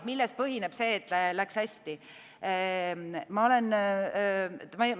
Millel põhineb see, et läks hästi?